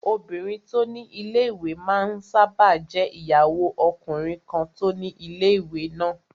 Obìnrin tó ni ilé-ìwé máa n sáábà jẹ́ ìyàwó ọkùnrin kan tó ni ilé-ìwé náà